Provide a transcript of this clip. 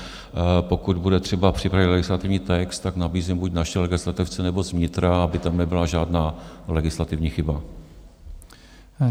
Pokud bude třeba připravit legislativní text, tak nabízím buď naše legislativce, nebo z vnitra, aby tam nebyla žádná legislativní chyba.